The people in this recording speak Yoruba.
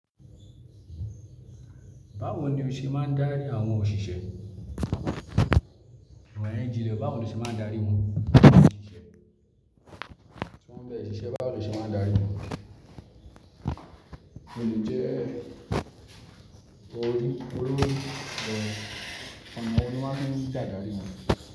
Báwo ni o ṣe máa ń darí àwọn òṣìṣẹ́? Àwọn Ngo, báwo ni o ṣe máa ń darí wọn? Àwọn òṣìṣẹ́ tí wọ́n ń bẹ̀rẹ̀ iṣẹ́, báwo ni o ṣe máa ń darí wọn? Mi ò lè jẹ́ olórí, olórí rẹ̀. Ọ̀nà wo ni wọ́n fi máa ń gbà darí wọn?